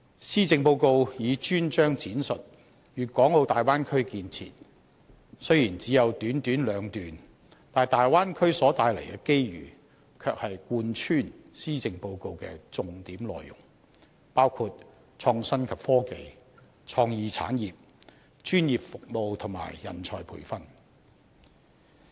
施政報告以專章闡述粵港澳大灣區建設，雖然只有短短兩段，但大灣區所帶來的機遇，卻是貫穿施政報告的重點內容，包括創新及科技、創意產業、專業服務和人才培訓。